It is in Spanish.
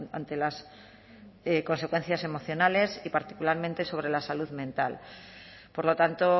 ante las consecuencias emocionales y particularmente sobre la salud mental por lo tanto